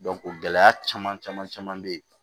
gɛlɛya caman caman caman caman be ye